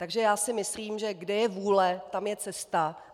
Takže já si myslím, že kde je vůle, tam je cesta.